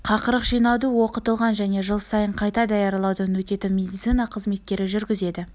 қақырық жинауды оқытылған және жыл сайын қайта даярлаудан өтетін медицина қызметкері жүргізеді